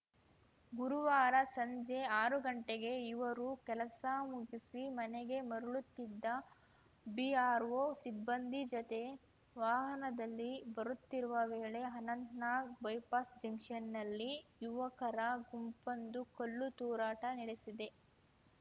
ಗುರುವಾರ ಸಂಜೆ ಆರು ಗಂಟೆಗೆ ಇವರು ಕೆಲಸ ಮುಗಿಸಿ ಮನೆಗೆ ಮರಳುತ್ತಿದ್ದ ಬಿಆರ್‌ಒ ಸಿಬ್ಬಂದಿ ಜೊತೆ ವಾಹನದಲ್ಲಿ ಬರುತ್ತಿರುವ ವೇಳೆ ಅನಂತನಾಗ್‌ ಬೈಪಾಸ್‌ ಜಂಕ್ಷನ್‌ನಲ್ಲಿ ಯುವಕರ ಗುಂಪೊಂದು ಕಲ್ಲು ತೂರಾಟ ನಡೆಸಿದೆ